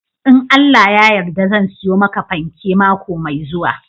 In Allah ya yarda zan siyo maka fanke mako mai zuwa.